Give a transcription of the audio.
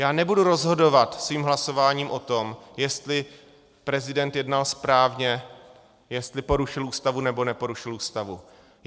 Já nebudu rozhodovat svým hlasováním o tom, jestli prezident jednal správně, jestli porušil Ústavu, nebo neporušil Ústavu.